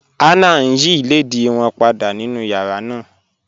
Hannah ń yí ilẹ̀dìí wọn pàdà nínu yàrá náà.